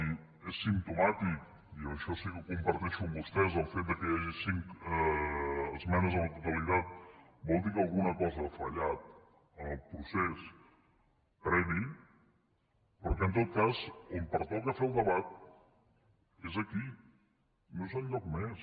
i és simptomàtic i això sí que ho comparteixo amb vostès el fet que hi hagi cinc esmenes a la totalitat vol dir que alguna cosa ha fallat en el procés previ però que en tot cas on pertoca fer el debat és aquí no és enlloc més